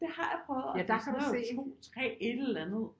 Det har jeg prøvet og det er sådan noget 2 3 et eller andet